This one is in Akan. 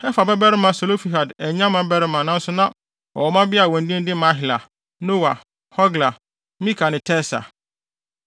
Hefer babarima Selofehad annya mmabarima nanso na ɔwɔ mmabea a wɔn din de Mahla, Noa, Hogla, Milka ne Tirsa.